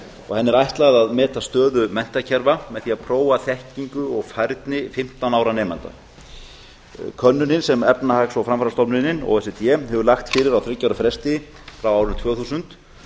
og henni er ætlað að meta stöðu menntakerfa með því að prófa þekkingu og færni fimmtán ára nemenda könnunin sem efnahags og framfarastofnunin o e c d hefur lagt fyrir á þriggja ára fresti frá árinu tvö þúsund